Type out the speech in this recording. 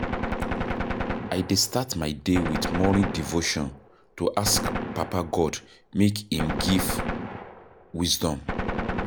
I dey start my day with morning devotion to ask Papa God make im give wisdom.